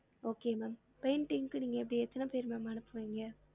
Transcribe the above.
Okay ma'am painting க்கு நீங்க அப்டி எத்தன பேரு ma'am அனுப்புவிங்க